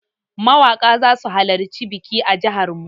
Mawaƙa zasu halarci biki a jihar mu.